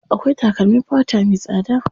Akwai takalmin fata me tsada.